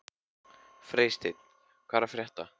Freysteinn, hvað er að frétta?